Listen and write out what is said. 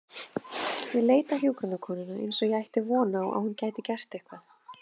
Ég leit á hjúkrunarkonuna eins og ég ætti von á að hún gæti gert eitthvað.